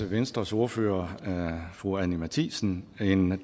venstres ordfører fru anni matthiesen en